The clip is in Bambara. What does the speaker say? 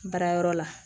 Baara yɔrɔ la